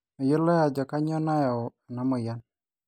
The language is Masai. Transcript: meyioloi ajo kanyio nayau enamoyian